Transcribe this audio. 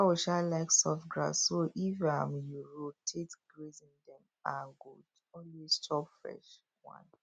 cow um like soft grass so if um you rotate grazing dem um go chop fresh one